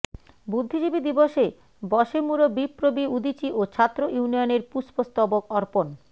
বুদ্ধিজীবী দিবসে বশেমুরবিপ্রবি উদীচী ও ছাত্র ইউনিয়নের পুষ্পস্তবক অর্পণ